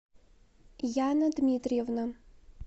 яна дмитриевна